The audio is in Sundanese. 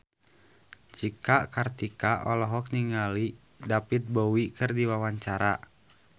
Cika Kartika olohok ningali David Bowie keur diwawancara